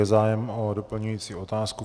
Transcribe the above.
Je zájem o doplňující otázku?